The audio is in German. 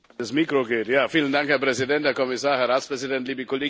Herr Präsident, Herr Kommissar, Herr Ratspräsident, liebe Kolleginnen und Kollegen!